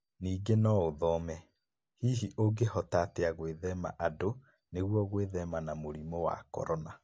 Ningĩ no ũthome: Hihi ũngĩhota atĩa gwĩthema andũ nĩguo gwĩthema mũrimũ wa korona?